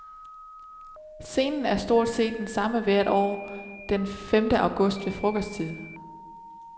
Scenen er stort set den samme hvert år den femte august ved frokosttid.